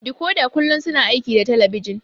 Dikoda kullum suna aiki da talabijin